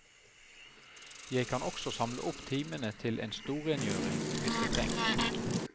Jeg kan også samle opp timene til en storrengjøring, hvis det trengs.